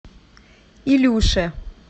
илюше